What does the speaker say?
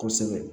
Kosɛbɛ